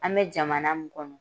An bɛ jamana mun kɔnɔ